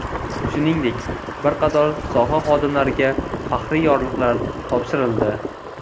Shuningdek, bir qator soha xodimlariga faxriy yorliqlar topshirildi.